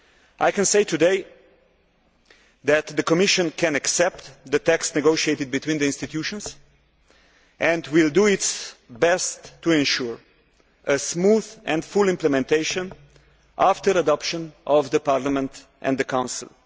I can say today that the Commission can accept the text negotiated between the institutions and will do its best to ensure smooth and full implementation after adoption by Parliament and the Council.